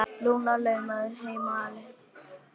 Lúna laumaði henni sjálf hingað eina nóttina.